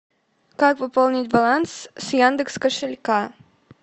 как пополнить баланс с яндекс кошелька